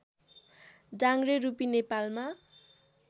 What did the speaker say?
डाङ्ग्रे रूपी नेपालमा